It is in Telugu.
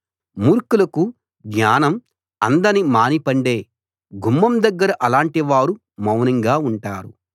మూర్ఖులకు జ్ఞానం అందని మాని పండే గుమ్మం దగ్గర అలాంటి వారు మౌనంగా ఉంటారు